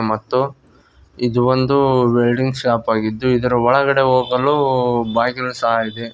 ಮತ್ತು ಇದು ಒಂದು ವೆಲ್ಡಿಂಗ್ ಶಾಪ್ ಆಗಿದ್ದು ಒಳಗೆ ಹೋಗಲು ಬಾಗಿಲು ಸಹ ಇದೆ.